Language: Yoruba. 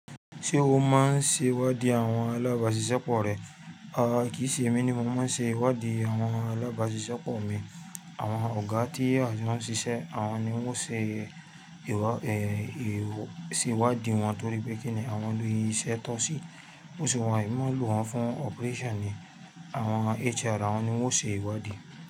Ṣé o máa ń ṣe ìwádìí àwọn alábàáṣiṣẹ́pọ̀ rẹ? Rara, kín ṣe èmi ni mò ń ṣe ìwádìí àwọn alábàáṣiṣẹ́pọ̀ mi. Àwọn ọ̀gá tí àjọ ma síse àwọn ni wọ́n ṣe ìwádìí wọn torí pé kíni àwọn ni iṣẹ́ tọ́ sí. Bó se ye emi máa lò wọ́n fún operation ni àwọn HR àwọn ni wọ́n ṣe ìwádìí.